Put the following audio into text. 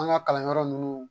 An ka kalanyɔrɔ ninnu